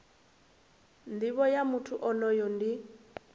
nivho ya muthu onoyo ndi